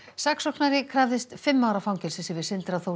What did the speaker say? saksóknari krafðist fimm ára fangelsis yfir Sindra Þór